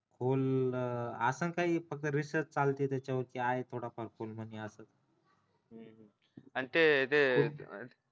खोल असेल काही फक्त research चालते त्याच्यावर की आहे थोडा फार खोल आणि अजून